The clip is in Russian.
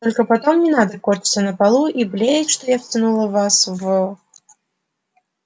только потом не надо корчиться на полу и блеять что я втянул вас в